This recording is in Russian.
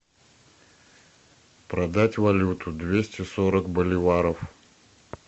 продать валюту двести сорок боливаров